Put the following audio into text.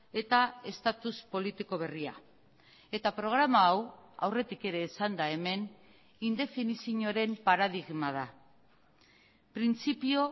eta estatus politiko berria eta programa hau aurretik ere esan da hemen indefinizioaren paradigma da printzipio